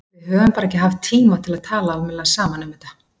Við höfum bara ekki haft tíma til að tala almennilega saman um þetta.